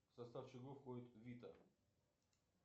в состав чего входит вита